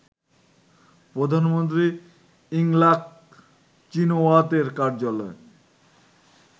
প্রধানমন্ত্রী ইংলাক চিনাওয়াতের কার্যালয়